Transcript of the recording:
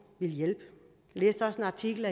vil hjælpe jeg læste også en artikel